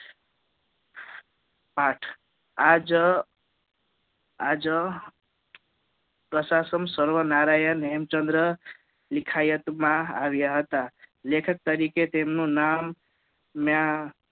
પાઠ આજ આજ પ્રશાસન સર્વનારાયણ હેમચંદ્ર લીખાયત માં આવ્યા હતા લેખક તરીકે તેમનું નામ ત્યાં